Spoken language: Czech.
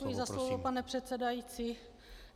Děkuji za slovo, pane předsedající.